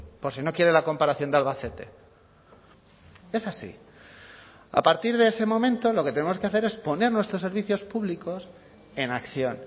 por si no quiere la comparación de albacete es así a partir de ese momento lo que tenemos que hacer es poner nuestros servicios públicos en acción